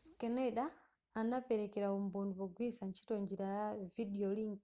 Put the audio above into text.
schneider anapelekera umboni pogwiritsa ntchito njira ya videolink